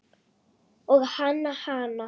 Og hann hana.